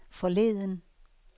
forleden